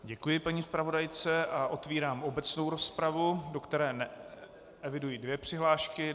Děkuji paní zpravodajce a otevírám obecnou rozpravu, do které eviduji dvě přihlášky.